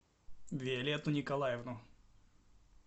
виолетту николаевну